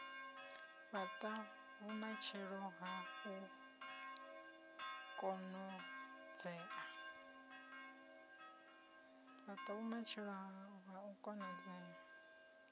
fhata vhumatshelo ha u konadzea